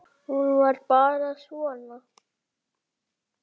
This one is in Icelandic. Hún var bara svona